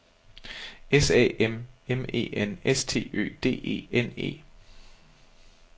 S A M M E N S T Ø D E N E